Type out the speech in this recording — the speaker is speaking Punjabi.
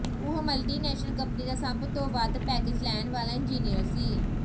ਉਹ ਮਲਟੀ ਨੈਸ਼ਨਲ ਕੰਪਨੀ ਦਾ ਸਭ ਤੋਂ ਵੱਧ ਪੈਕੇਜ ਲੈਣ ਵਾਲਾ ਇੰਜਨੀਅਰ ਸੀ